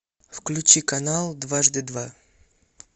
включи канал дважды два